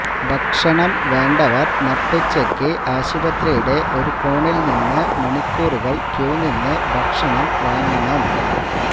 ഭക്ഷണം വേണ്ടവര് നട്ടുച്ചയ്ക്ക് ആശുപത്രിയുടെ ഒരുകോണില് നിന്ന് മണിക്കൂറുകള് ക്യൂ നിന്ന് ഭക്ഷണം വാങ്ങണം